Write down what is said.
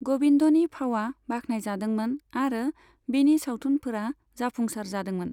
गबिन्दनि फावआ बाखनायजादोंमोन आरो बिनि सावथुनफोरा जाफुंसार जादोंमोन।